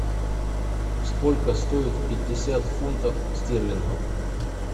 сколько стоит пятьдесят фунтов стерлингов